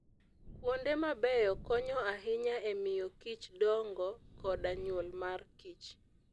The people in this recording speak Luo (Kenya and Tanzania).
Kuonde mabeyo konyo ahinya e miyo kich dongo koda nyuol mar kich.